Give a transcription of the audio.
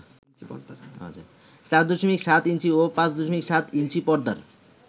৪.৭ inch ও ৫.৭ inch পর্দার